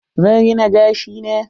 Zan rina gashi na.